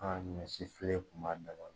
An ka misi filɛ kun b'a dabɔ.